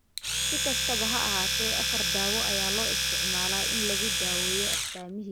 Si kastaba ha ahaatee, afar daawo ayaa loo isticmaalaa in lagu daweeyo astaamihiisa.